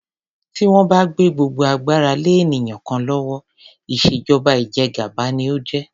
Tí wón bá gbé gbogbo agbára lé ènìyàn kan lówó, ìṣèjọba ìjẹgàba ni ó jẹ́.